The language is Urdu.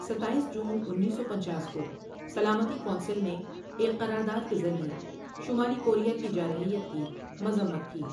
ستائیس جون انیس سو پنچاس کو سلامتی کونسل نے ایک قرارداد کے ذریعے شمالی کوریا کی جارحیت کی مذمت کی ۔